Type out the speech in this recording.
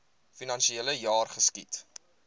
finansiele jaar geskied